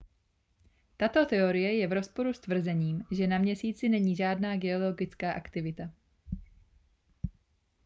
tato teorie je v rozporu s tvrzením že na měsíci není žádná geologická aktivita